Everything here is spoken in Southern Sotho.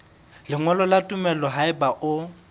lengolo la tumello haeba o